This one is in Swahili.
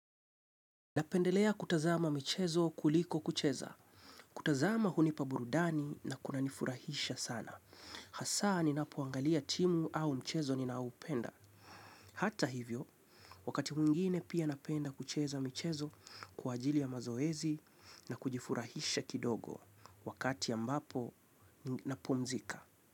Napendelea kutazama michezo kuliko kucheza. Kutazama hunipa burudani na kunanifurahisha sana. Hasa ninapoangalia timu au mchezo ninaopenda. Hata hivyo, wakati mwingine pia napenda kucheza mchezo kwa ajili ya mazoezi na kujifurahisha kidogo. Wakati ambapo napumzika.